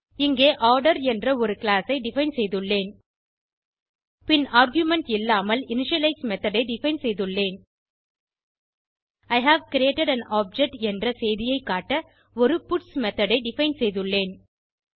இங்கே ஆர்டர் என்ற ஒரு கிளாஸ் ஐ டிஃபைன் செய்துள்ளேன் பின் ஆர்குமென்ட் இல்லாமல் இனிஷியலைஸ் மெத்தோட் ஐ டிஃபைன் செய்துள்ளேன் I have created an object என்ற செய்தியை காட்ட ஒரு பட்ஸ் மெத்தோட் ஐ டிஃபைன் செய்துள்ளேன்